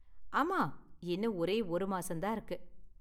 ஆமா இன்னும் ஒரே ஒரு மாசம் தான் இருக்கு